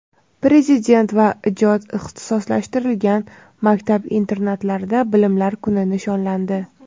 Prezident va ijod va ixtisoslashtirilgan maktab internatlarida "Bilimlar kuni" nishonlandi.